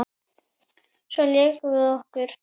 Svo lékum við okkur.